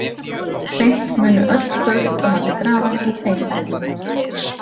Seint munu öll kurl koma til grafar í þeim efnum.